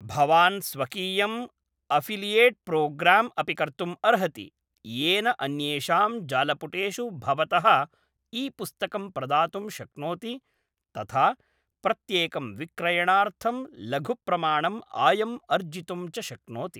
भवान् स्वकीयं अफ़िलियेट्प्रोग्राम् अपि कर्तुम् अर्हति, येन अन्येषां जालपुटेषु भवतः ई पुस्तकं प्रदातुं शक्नोति, तथा प्रत्येकं विक्रयणार्थं लघुप्रमाणं आयं अर्जितुं च शक्नोति।